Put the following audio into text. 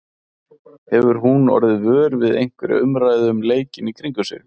Hefur hún orðið vör við einhverja umræðu um leikinn í kringum sig?